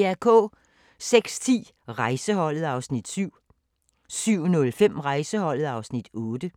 06:10: Rejseholdet (Afs. 7) 07:05: Rejseholdet (Afs. 8)